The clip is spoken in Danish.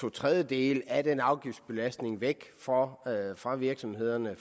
to tredjedele af den afgiftsbelastning væk fra fra virksomhederne